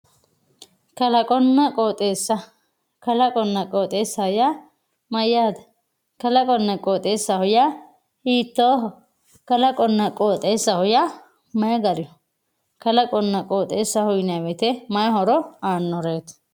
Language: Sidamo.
Kalaqonna qooxxeessa, kalaqonna qooxxeessa yaa mayyate, kalaqonna qooxxeesa yaa hiittoho, kalaqonna qooxxeessa yaa mayi gariho, kalaqonna qooxxeessaho yinanni woyte mayi horo aanoreti ?